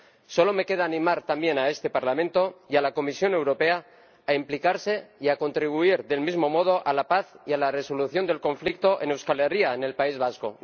Solo me queda animar también a este Parlamento y a la Comisión Europea a implicarse y a contribuir del mismo modo a la paz y a la resolución del conflicto en Euskal Herria, en el País Vasco.